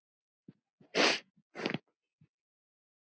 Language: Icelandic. En þau gerðu líka annað.